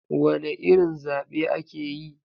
Wane irin zabe ake yi?